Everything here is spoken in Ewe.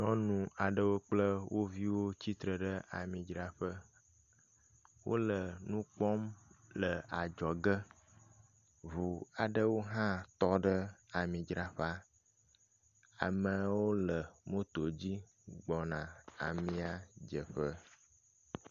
Nyɔnu aɖewo kple wo viwo tsitre ɖe amidzraƒe. Wo le nu kpɔm le adzɔge. Ŋu aɖewo hã tɔ ɖe amidzraƒea. Amewo le moto dzi gbɔna amia dzeƒe.